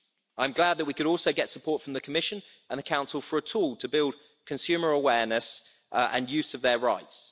I'm glad that we could also get support from the Commission and the Council for a tool to build consumer awareness and use of their rights.